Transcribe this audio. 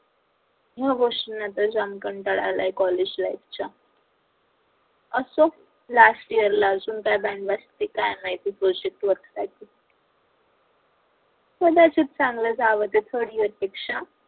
ह्या गोष्टींचा तर जाम कंटाळा आले college life च्या असो last year ला अजून कदाचित चांगल जाव third year पेक्षा